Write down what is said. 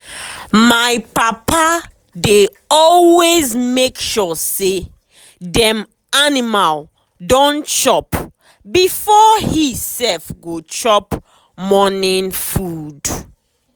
my papa dey always make sure say dem animal don chop before he sef go chop morning food.